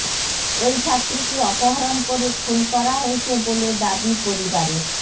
ওই ছাত্রীকে অপহরণ করে খুন করা হয়েছে বলে দাবি পরিবারের